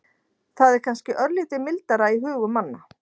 Það er kannski örlítið mildara í hugum manna.